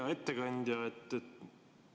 Hea ettekandja!